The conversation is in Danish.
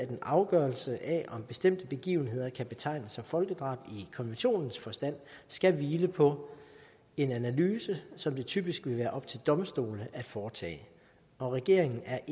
en afgørelse af om bestemte begivenheder kan betegnes som folkedrab i konventionens forstand skal hvile på en analyse som det typisk vil være op til domstolene at foretage og regeringen er